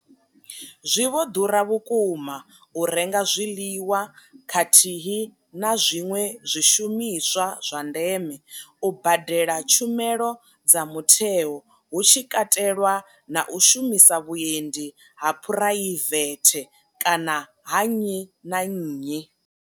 Zwi vho ḓura vhukuma u renga zwiḽiwa khathihi na zwiṅwe zwishumiswa zwa ndeme, u badela tshumelo dza mutheo hu tshi katelwa na u shumisa vhuendi ha phuraivethe kana ha nnyi na nnyi.